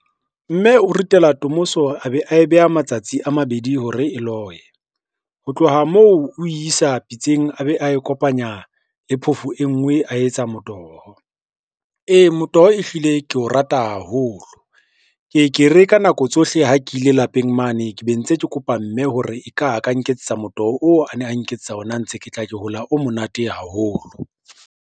Mme o ritela tomoso a be a e beha matsatsi a mabedi hore e loye, ho tloha moo o isa pitseng a be a e kopanya le phofo e ngwe a etsa motoho. Ee, motoho ehlile ke o rata haholo, ke ke re ka nako tsohle ha ke ile lapeng mane, ke be ntse ke kopa mme hore eka a ka nketsetsa motoho oo a ne a nketsetsa ona ha ntse ke tla ke hola o monate haholo.